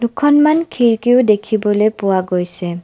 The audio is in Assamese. খনমান খিৰিকীও দেখিবলৈ পোৱা গৈছে।